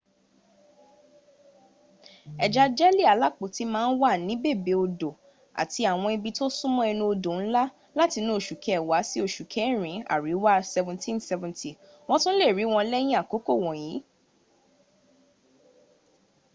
ẹ̀ja-jẹ́lì alápòtí ma ń wà ní bèbè odò àti àwọn ibi tó súnmọ́ ẹnú odò ńlá látinú oṣù kẹwàá sí oṣù kẹrin àríwá 1770. wọ́n tún le rí wọn lẹ́yìn àkókò wọ̀nyí